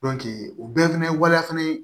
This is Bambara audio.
o bɛɛ fana ye waleya fana ye